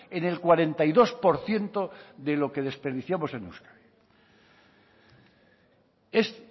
en el cuarenta y dos por ciento de lo que desperdiciamos en euskadi es